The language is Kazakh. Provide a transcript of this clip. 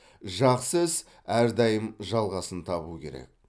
жақсы іс әрдайым жалғасын табуы керек